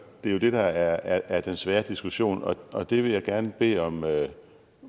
det er jo det der er den svære diskussion og det vil jeg gerne bede om